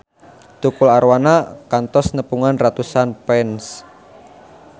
Tukul Arwana kantos nepungan ratusan fans